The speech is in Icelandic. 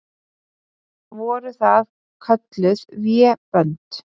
Voru það kölluð vébönd.